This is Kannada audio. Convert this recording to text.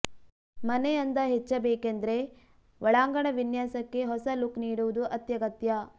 ಮನೆ ಅಂದ ಹೆಚ್ಚಬೇಕೆಂದ್ರೆ ಒಳಾಂಗಣ ವಿನ್ಯಾಸಕ್ಕೆ ಹೊಸ ಲುಕ್ ನೀಡುವುದು ಅತ್ಯಗತ್ಯ